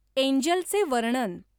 एन्जलचे वर्णन